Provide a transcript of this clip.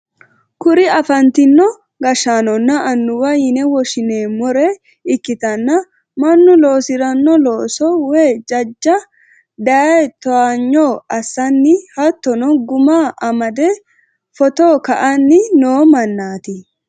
kuri afantino gashshaanonna annuwaho yine woshshi'neemmore ikkitanna, mannu loosi'rino loossa woy jajja daye towaanyo assanni hattono gumma amade footta ka'anni noo mannaati.